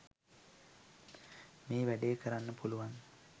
මේ වැඩේ කරන්න පුළුවන්